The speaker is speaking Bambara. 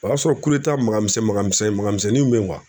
O y'a sɔrɔ makan misɛn mankan misɛnnin mankan misɛnninw bɛ yen